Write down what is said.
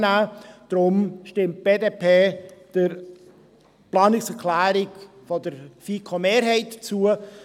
Deshalb stimmt die BDP der Planungserklärung der FiKoMehrheit zu.